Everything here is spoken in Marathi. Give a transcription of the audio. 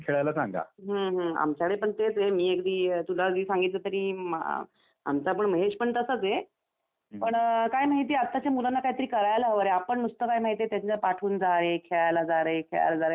हम्म हम्म आमच्याकडे पण तेच आहे मी अगदी तुला सांगितलं जरी आमचा पण महेश पण तसाच आहे पण काय माहिती आत्ताच्या मुलांना काहीतरी करायला हवं रे आपण नुसतं काय पाठवून त्यांच्या जारे खेळायला जा रे खेळायला जा रे असं करतो.